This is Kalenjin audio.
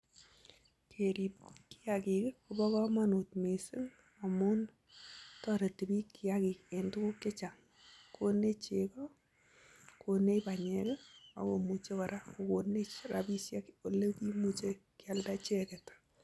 Kerrio kiagiik kopa kamanut missing amun konuu chegoo ,rapisheek chechang kealda icheget